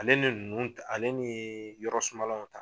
Ale ni ninnu ta ale ni yɔrɔ suma law